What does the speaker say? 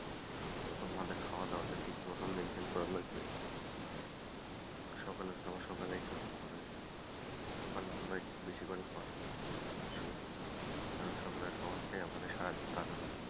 তারপর আমাদের খায়াদাওয়াটা ঠিক মতো maintain করা লাগবে সকালের খাওয়া সকালেই খেতে হবে ওখানে আমরা একটু বেশি করে , সকালে খাওয়াটাই আমাদের সারাদিন কাজে লাগবে,